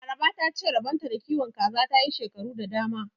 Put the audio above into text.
Laraba ta ce rabon ta da kiwon kaza ta yi shekaru da dama.